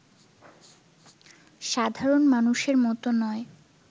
সাধারণ মানুষের মতো নয়